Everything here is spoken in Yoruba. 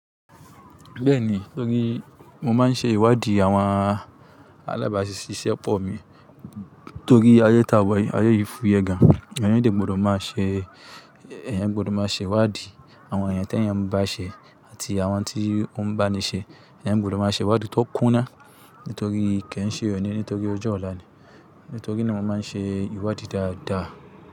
Bẹ́ẹ̀ni, torí mo máa ń ṣe ìwádìí àwọn alábàásisẹ́pọ̀ mi torí ayé tàwọn, ayé yìí fúyẹ́ gan. Eyan dé gbọdọ̀ máa ṣe, eyan gbọdọ̀ máa ṣe ìwádìí àwọn eyàn tí eyàn bá ṣe àti àwọn tí ó ń bá ni ṣe. Eyan gbọdọ̀ máa ṣe ìwádìí tó kúná nítorí kì í ṣe òní nítorí ọjọ́ ọ̀la ni. Nítorí ní mo máa ń ṣe ìwádìí dáadáa.